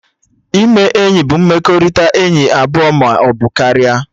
Ime enyi bụ mmekọrịta enyi abụọ maọbụ karịa